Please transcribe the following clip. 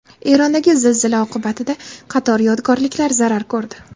Erondagi zilzila oqibatida qator yodgorliklar zarar ko‘rdi.